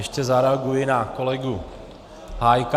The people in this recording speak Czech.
Ještě zareaguji na kolegu Hájka.